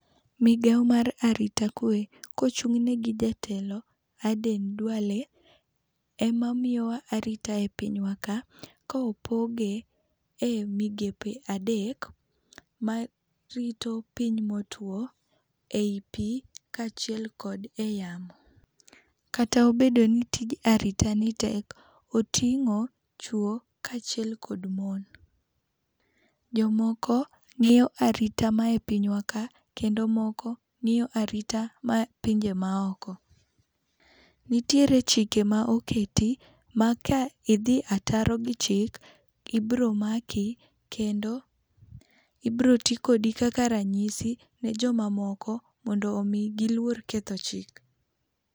Migawo mar arita kwe kochung'ne gi jatelo, Aden Dwale, ema miyowa arita epinywa ka. Kopoge e migepe adek, marito piny motwo, ei pi, kaachiel kod eyamo. Kata obedo ni tij aritani tek, oting'o chuo kaachiel kod mon. Jomoko ng'iyo arita mae pinywa ka, kendo moko ng'iyo arita ma pinje maoko. Nitiere chike ma oketi ma ka idhi ataro gi chik, ibiro maki kendo ibiro ti kodi kaka ranyisi ne jomamoko mondo omi giluor ketho chik.